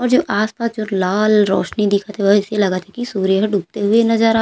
और जो आसपास जो लाल रौशनी दिखत हे ओहा अइसे लगत हे की सूर्य डूबते हुए नज़र आवत--